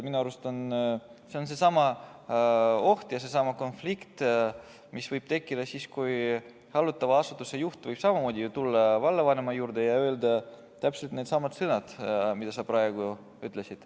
Minu arust on seesama oht ja võib seesama konflikt tekkida, hallatava asutuse juht võib samamoodi ju minna vallavanema juurde ja öelda täpselt needsamad sõnad, mis sa praegu ütlesid.